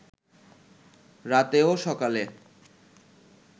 রাতে ও সকালে